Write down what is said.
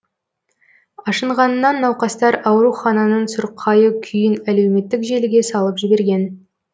ашынғанынан науқастар аурухананың сұрқайы күйін әлеуметтік желіге салып жіберген